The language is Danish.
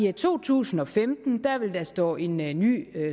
i to tusind og femten vil der stå en ny ny